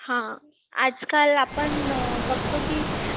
हा आजकाल आपण बघतो की